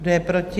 Kdo je proti?